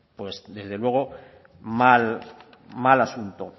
pues desde luego mal mal asunto